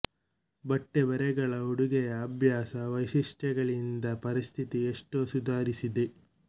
ಬಟ್ಟೆ ಬರೆಗಳ ಉಡುಗೆಯ ಅಭ್ಯಾಸ ವೈಶಿಷ್ಟ್ಯಗಳಿಂದ ಪರಿಸ್ಥಿತಿ ಎಷ್ಟೋ ಸುಧಾರಿಸಿದೆ